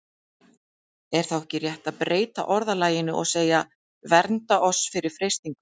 Er þá ekki rétt að breyta orðalaginu og segja: Vernda oss fyrir freistingum?